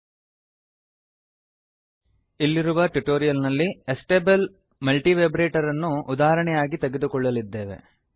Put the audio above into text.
ಇಲ್ಲಿರುವ ಟ್ಯುಟೋರಿಯಲ್ ನಲ್ಲಿ astable multivibrator astable multivibrator ಅನ್ನು ಉದಾಹರಣೆಯಾಗಿ ತೆಗೆದುಕೊಳ್ಳಲ್ಲಿದ್ದೇವೆ